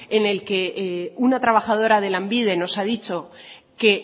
en el que una trabajadora de lanbide nos ha dicho que